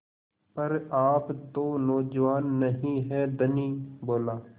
पर आप तो नौजवान नहीं हैं धनी बोला